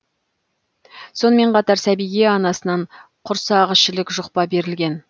сонымен қатар сәбиге анасынан құрсақішілік жұқпа берілген